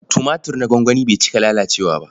Tumatir na gwangwani bai cika lalacewa ba.